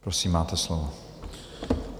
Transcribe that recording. Prosím, máte slovo.